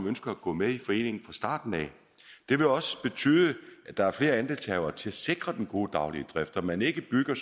ønsker at gå med i foreningen fra starten af det vil også betyde at der er flere andelshavere til at sikre den gode daglige drift og at man ikke bygger